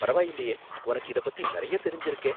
பரவாயில்லயே, உனக்கு இதப் பத்தி நறையா தெரிஞ்சுருக்கே